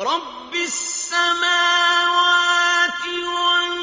رَّبِّ السَّمَاوَاتِ وَالْأَرْضِ